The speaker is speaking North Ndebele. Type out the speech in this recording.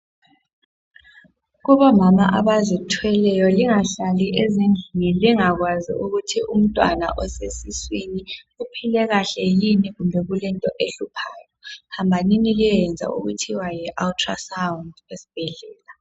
kubomama abazitheleyo lingahlali ezindlini lingakwazi ukuthi umntwana osesiswini uphile kahle yini kumbe kulento ehluphayo hambanini liyoyenza okuthiwa yi ultra sound esibhedlela